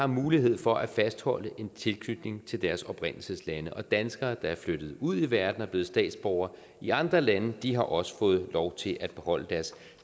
mulighed for at fastholde en tilknytning til deres oprindelseslande og danskere der er flyttet ud i verden og blevet statsborgere i andre lande har også fået lov til at beholde deres